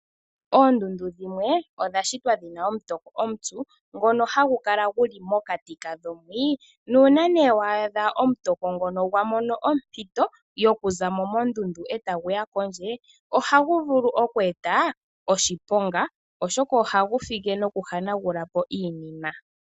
Oondundu dhimwe odha shitwa dhina omutoko omupyu ngono hagu kala guli mokati kago mwii, nuunanee waadha omutoko ngono gwa mono ompito yo kuza mo mondundu e ta gu ya pondje ohagu vulu okweeta oshiponga oshoka ohagu fike noku hanagula po iinima.